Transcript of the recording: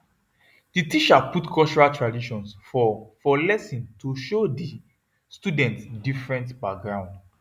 the teacher put cultural traditions for for lesson to show the student different background